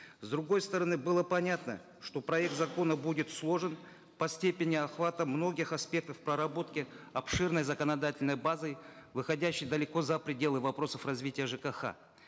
с другой стороны было понятно что проект закона будет сложным по степени охвата многих аспектов проработки обширной законодательной базы выходящей далеко за пределы вопросов развития жкх